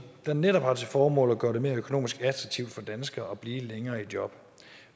der netop har til formål at gøre det mere økonomisk attraktivt for danskere at blive længere i job